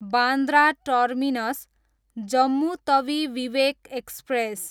Bandra terminus, Jammu Tawi Vivek express